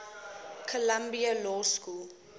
columbia law school